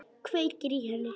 Kveikir í henni.